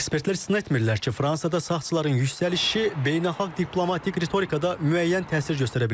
Ekspertlər istisna etmirlər ki, Fransada sağçıların yüksəlişi beynəlxalq diplomatik ritorikada müəyyən təsir göstərə bilər.